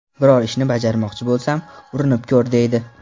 Biror ishni bajarmoqchi bo‘lsam, ‘Urinib ko‘r’ deydi.